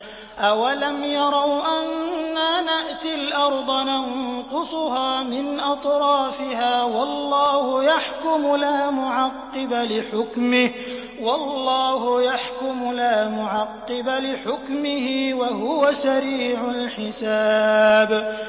أَوَلَمْ يَرَوْا أَنَّا نَأْتِي الْأَرْضَ نَنقُصُهَا مِنْ أَطْرَافِهَا ۚ وَاللَّهُ يَحْكُمُ لَا مُعَقِّبَ لِحُكْمِهِ ۚ وَهُوَ سَرِيعُ الْحِسَابِ